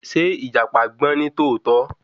Ṣé ìjàpá gbọ́n nítòótó?